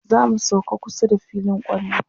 zamu sauka kusa da filin kwallo